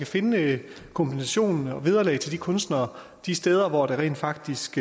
finde kompensation og vederlag til kunstnere de steder hvor der rent faktisk